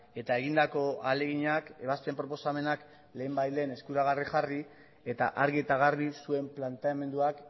eta egindako ahaleginak ebazpen proposamenak lehenbailehen eskuragarri jarri eta argi eta garbi zuen planteamenduak